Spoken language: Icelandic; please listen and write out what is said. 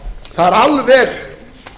það er alveg